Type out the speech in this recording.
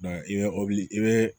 i bɛ i bɛ